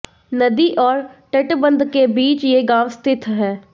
नदी और तटबंध के बीच ये गांव स्थित है